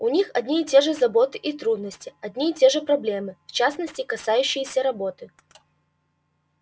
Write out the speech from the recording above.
у них одни и те же заботы и трудности одни и те же проблемы в частности касающиеся работы